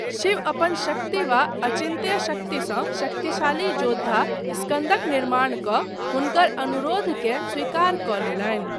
शिव अपन शक्ति वा अचिन्त्य शक्ति सँ शक्तिशाली योद्धा, स्कन्दक निर्माण कऽ हुनकर अनुरोधकेँ स्वीकार कऽ लेलनि।